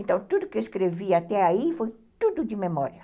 Então, tudo que eu escrevi até aí foi tudo de memória.